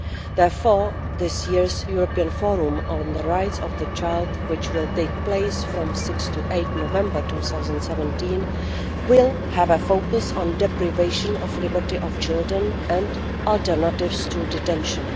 Therefore, this year's European Forum on the Rights of the Child, which will take place from 6 to 8 November 2017, will have a focus on the deprivation of liberty of children and alternatives to detention.